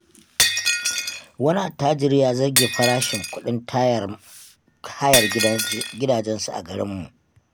Wani attajiri ya zabge farashin kuɗin tayar hayar gidajensa a garinmu.